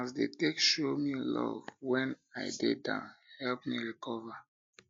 na as dem take show um me love wen um i um dey down help me recover